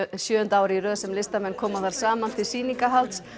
sjöunda árið í röð sem listamenn koma þar saman til sýningahalds